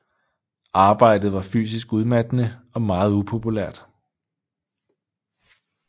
Arbejdet var fysisk udmattende og meget upopulært